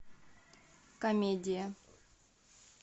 комедия